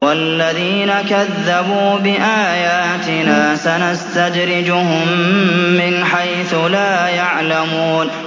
وَالَّذِينَ كَذَّبُوا بِآيَاتِنَا سَنَسْتَدْرِجُهُم مِّنْ حَيْثُ لَا يَعْلَمُونَ